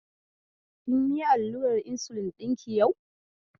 Kim yi allurar insulin ɗinki yau?